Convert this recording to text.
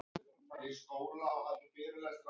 Sofðu sæll í ró.